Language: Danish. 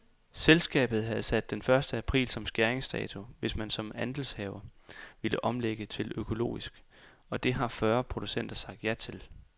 Selskabet havde sat den første april som skæringdato, hvis man som andelshaver ville omlægge til økologisk, og det har fyrre producenter sagt ja til.